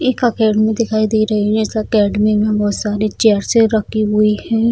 एक अकाडेमी दिखाई दे रही है इस अकाडेमी में बहुत सारी चेयर्स रखी हुई है।